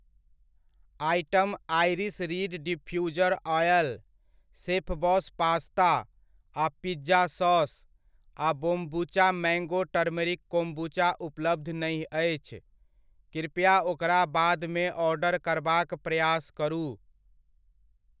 Item iris reed diffuser oil, Chefboss pasta आ pizza sauce आ kombucha mango turmeric kombucha उपलब्ध नहि अछि, कृपया ओकरा बादमे ऑर्डर करबाक प्रयास करु।